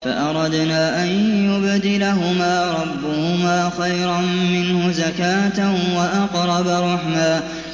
فَأَرَدْنَا أَن يُبْدِلَهُمَا رَبُّهُمَا خَيْرًا مِّنْهُ زَكَاةً وَأَقْرَبَ رُحْمًا